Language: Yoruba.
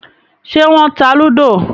Ṣé wọ́n ta lúdò?